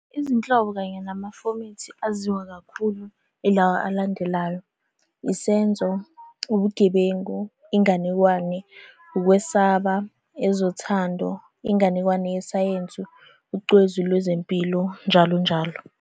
Izinhlobo kanye namafomethi aziwa kakhulu ilawa alandelayo, isenzo, ubugebengu, inganekwane, ukwesaba, ezothando, inganekwane yesayensi, ucwezu lwezempilo, njalo njalo.